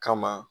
Kama